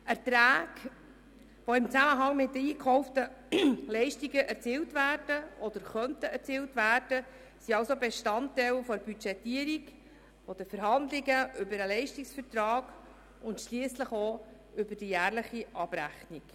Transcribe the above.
Erträge, die im Zusammenhang mit den eingekauften Leistungen erzielt werden oder erzielt werden könnten, sind also Bestandteil der Budgetierung, der Verhandlungen über den Leistungsvertrag und schliesslich der jährlichen Abrechnung.